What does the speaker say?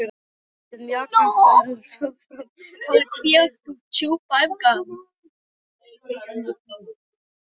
Verkið mjakaðist áfram eftir því sem hægt var.